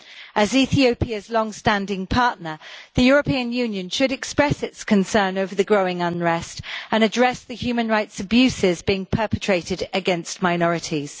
As Ethiopia's long standing partner, the European Union should express its concern over the growing unrest and address the human rights abuses being perpetrated against minorities.